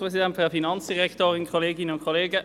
– Gut, dann führen wir die Beratungen jetzt fort.